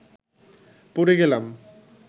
পড়ে গেলাম